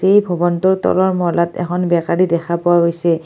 এই ভৱনটোৰ তলৰ মহলাত এখন বেকাৰী দেখা পোৱা গৈছে।